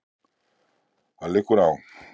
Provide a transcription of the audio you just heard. Það liggur á